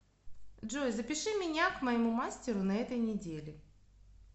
джой запиши меня к моему мастеру на этой неделе